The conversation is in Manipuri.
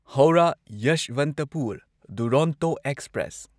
ꯍꯧꯔꯥ ꯌꯦꯁ꯭ꯋꯟꯇꯄꯨꯔ ꯗꯨꯔꯣꯟꯇꯣ ꯑꯦꯛꯁꯄ꯭ꯔꯦꯁ